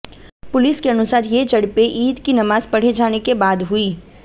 police के अनुसार ये झडपें ईद की नमाज पढ़े जाने के बाद हुईं